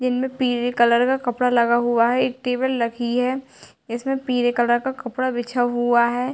Yellow पिले colour का कपडा लगा हुआ है एक टेबल रखी है जिसमे पीले कलर का कपडा बिछा हुआ है ।